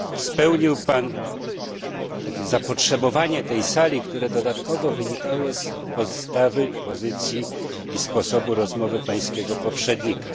Odpowiedział Pan na potrzeby tej Sali, które dodatkowo wynikały z postawy, pozycji i sposobu rozmowy Pańskiego poprzednika.